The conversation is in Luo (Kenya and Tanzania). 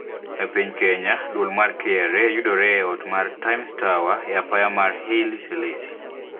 Epiny Kenya duol mar KRA yudore e ot mar Times Tower e apaya mar Haile Selassie